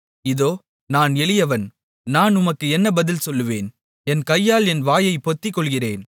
இதோ நான் எளியவன் நான் உமக்கு என்ன பதில் சொல்லுவேன் என் கையால் என் வாயைப் பொத்திக்கொள்ளுகிறேன்